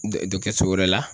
Dɔ so wɛrɛ la